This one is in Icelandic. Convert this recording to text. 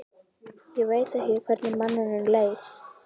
Ég veit ekki hvernig manninum leið.